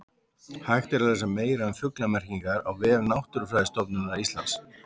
Hægt er að lesa meira um fuglamerkingar á vef Náttúrufræðistofnunar Íslands.